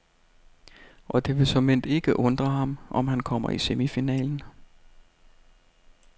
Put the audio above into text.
Og det vil såmænd ikke undre ham, om han kommer i semifinalen.